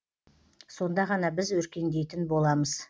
сонда ғана біз өркендейтін боламыз